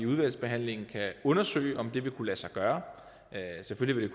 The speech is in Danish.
udvalgsbehandlingen kan undersøge om det vil kunne lade sig gøre selvfølgelig vil